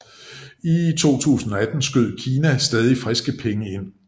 I 2018 skød Kina stadig friske penge ind